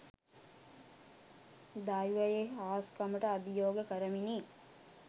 දෛවයේ හාස්කමට අභියෝග කරමිනි